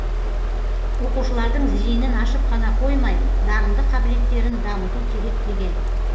оқушылардың зейінін ашып қана қоймай дарынды қабілеттерін дамыту керек деген